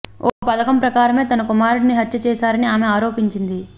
ఓ పథకం ప్రకారమే తన కుమారుడిని హత్య చేశారని ఆమె ఆరోపించారు